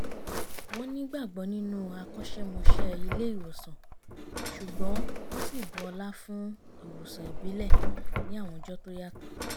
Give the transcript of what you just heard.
wọ́n nígbàgbọ́ nínú akọ́ṣẹ́mọṣẹ́ ilé ìwòsàn ṣùgbọ́n wọ́n sì bu ọlá fún ìwòsàn ìbílẹ̀ ní àwọn ọjọ́ tó yàtọ̀